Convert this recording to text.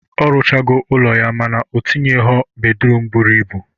Ọ rụchago ụlọ ya mana o tinyegho bedruum buru ibu.